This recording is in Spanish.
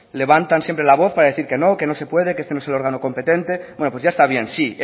levantan siempre la voz para decir que no que no se puede que este no es el órgano competente bueno pues ya está bien sí